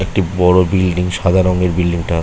একটি বড় বিল্ডিং সাদা রংয়ের বিল্ডিংটা ।